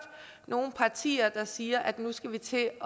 nogen partier der siger at nu skal vi til